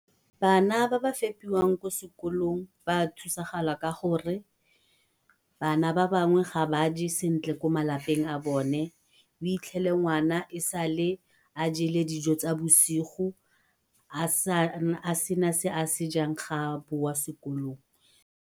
Bana ba ba fepiwang ko sekolong ba thusagala ka gore bana ba bangwe ga ba je sentle ko malapeng a bone, o itlhele ngwana e sale a jele dijo tsa bosigo a sena se a sejang ga a boa sekolong.